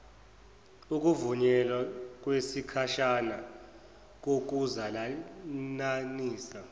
ukuvunyelwa kwesikhashana kokuzalananisa